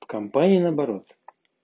в компании на оборот